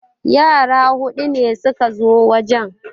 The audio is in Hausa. Yara hudu ne suka zo wajen